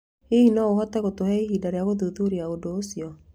Hihi no ũhote gũtũhe ihinda rĩa gũthuthuria ũndũ ũcio?